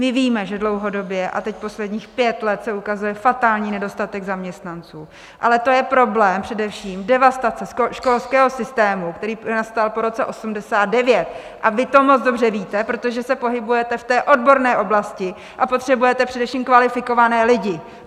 My víme, že dlouhodobě, a teď posledních pět let, se ukazuje fatální nedostatek zaměstnanců, ale to je problém především devastace školského systému, který nastal po roce 1989, a vy to moc dobře víte, protože se pohybujete v té odborné oblasti a potřebujete především kvalifikované lidi!